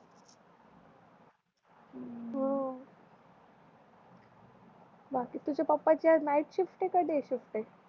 हु तुझ्या प्प्पाची night shift आहे का डे शिफ्ट आहे